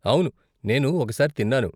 అవును, నేను ఒకసారి తిన్నాను.